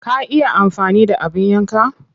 Ka iya amfani da abin yankan?